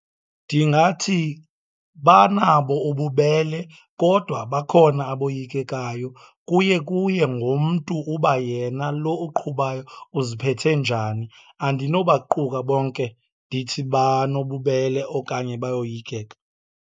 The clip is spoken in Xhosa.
Ndingathi banabo ububele kodwa bakhona aboyikekayo. Kuye kuye ngomntu uba yena lo uqhubayo uziphethe njani, andinobaquka bonke ndithi banobubele okanye bayoyikeka.